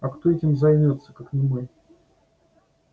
а кто этим займётся как не мы